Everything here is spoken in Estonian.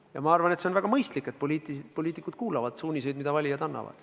Ja ma arvan, et see on väga mõistlik, et poliitikud kuulavad suuniseid, mida valijad annavad.